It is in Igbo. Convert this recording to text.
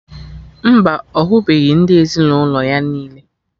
Mba, ọ hụbeghị ndị ezinụlọ ya niile